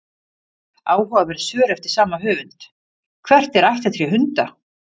Áhugaverð svör eftir sama höfund: Hvert er ættartré hunda?